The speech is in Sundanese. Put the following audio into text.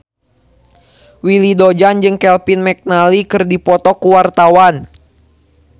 Willy Dozan jeung Kevin McNally keur dipoto ku wartawan